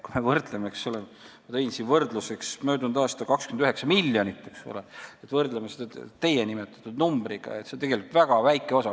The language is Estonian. Ma tõin siin võrdluseks möödunud aasta 29 miljonit ja kui me võrdleme seda teie nimetatud numbriga, siis see on tegelikult väga väike osa.